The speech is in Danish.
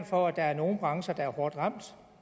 for at nogle brancher er hårdt ramt